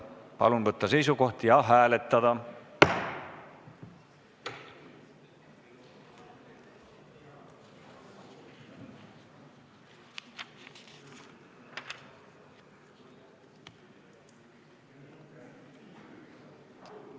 Palun võtta seisukoht ja hääletada!